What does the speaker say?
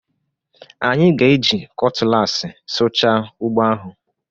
Anyị ga-eji kọtụlaasị sụchaa ugbo ahụ